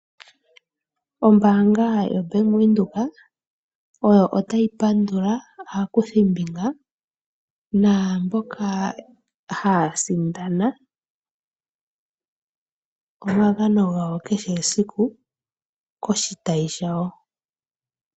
Ombaanga yo Bank Widhoek otayi pandula aakuthimbinga, naamboka haya sindana omagano gawo kehe esiku, koshitayi shawo.